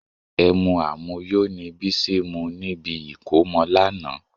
Ẹmu àmuyó ni Bísí mu níbi ìkómọ lánàá